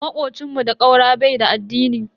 Makocin mu da ƙaura bai da addini.